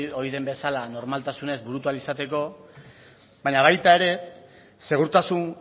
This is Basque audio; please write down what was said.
ohi den bezala normaltasunez burutu ahal izateko baina baita ere segurtasun